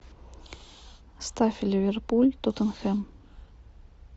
ставь ливерпуль тоттенхэм